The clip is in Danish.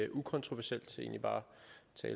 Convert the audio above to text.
konstatere